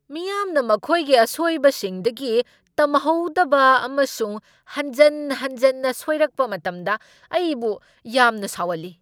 ꯃꯤꯌꯥꯝꯅ ꯃꯈꯣꯏꯒꯤ ꯑꯁꯣꯏꯕꯁꯤꯡꯗꯒꯤ ꯇꯝꯍꯧꯗꯕ ꯑꯃꯁꯨꯡ ꯍꯟꯖꯟ ꯍꯟꯖꯟꯅ ꯁꯣꯏꯔꯛꯄ ꯃꯇꯝꯗ ꯑꯩꯕꯨ ꯌꯥꯝꯅ ꯁꯥꯎꯍꯜꯂꯤ ꯫